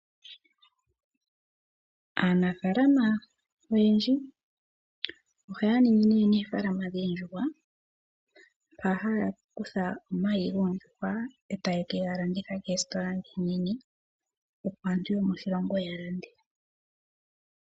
Aanafaalam oyendji ohaya ningi oofalama dhoondjuhwa. Ohaya kutha omayi goondjuhwa etaye kegalanditha po koositola ndhi oonene opo aantu yomoshilongo ya lande.